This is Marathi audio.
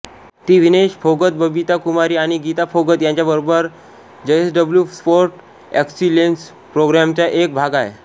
ती विनेश फोगतबबिता कुमारी आणि गीता फोगत यांच्याबरोबर जयसडब्लू स्पोर्ट्स ऍक्सिलेन्सप्रोग्रॅमचा एक भाग आहे